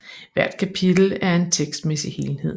Hvert kapitel er en tekstmæssig helhed